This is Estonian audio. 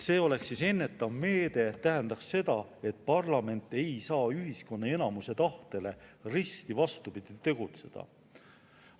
See oleks ennetav meede, see tähendaks seda, et parlament ei saaks tegutseda risti vastupidi ühiskonna enamuse tahtele.